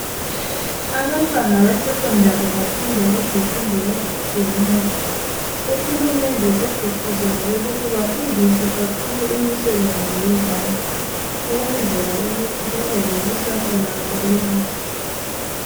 Abantwana be secondary bafunda izifundo ezitshiyeneyo. Uhulumende segqugquzele ukuthi bafundiswe kakhulu imisebenzi yezandla ukwenzela ukuthi babelekusasa labo elihle.